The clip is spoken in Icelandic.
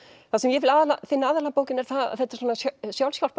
það sem ég finn aðallega að bókinni þetta er